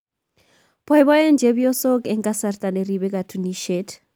AFCON 2019: Boibooen chepyosok eng kasarta neribe katuniset